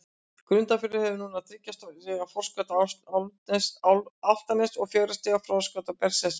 Grundarfjörður hefur núna þriggja stiga forskot á Álftanes og fjögurra stiga forskot á Berserki.